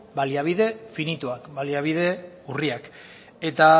baliabide finituak baliabide urriak eta